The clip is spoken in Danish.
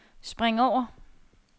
spring over